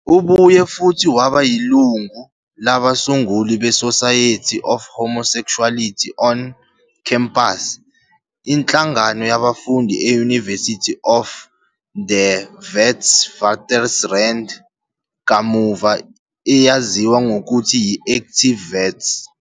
Ubuye futhi waba yilungu labasunguli be-Society for Homesexuality on Campus, inhlangano yabafundi e-University of the Witwatersrand, kamuva eyaziwa ngokuthi yi-Activate Wits.